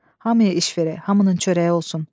Hamıya iş verək, hamının çörəyi olsun.